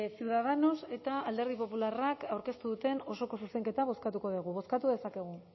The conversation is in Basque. ciudadanos eta alderdi popularrak aurkeztu duten osoko zuzenketa bozkatuko dugu bozkatu dezakegu